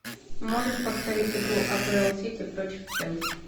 можешь повторить игру апл сити против челси